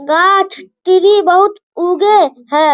गाछ टिरी बहुत उगे है।